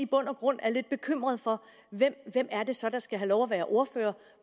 bund og grund er lidt bekymret for hvem det så er der skal have lov til at være ordfører